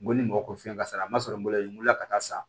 N ko ni mɔgɔ ko fɛn kasara ma sɔrɔ n bolo la n weele la ka taa san